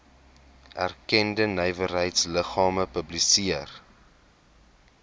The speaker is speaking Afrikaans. erkende nywerheidsliggame publiseer